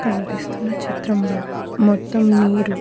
కనిపిస్తున్న చిత్రంలో మొత్తం నీరు --